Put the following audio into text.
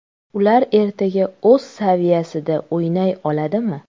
Ular ertaga o‘z saviyasida o‘ynay oladimi?